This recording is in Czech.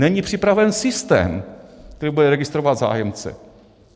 Není připraven systém, který bude registrovat zájemce.